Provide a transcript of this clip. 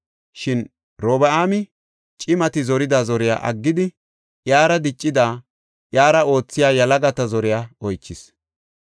Shin Robi7aami cimati zorida zoriya aggidi iyara diccidi, iyara oothiya yalagata zore oychis.